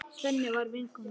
Sem var vinkona mín.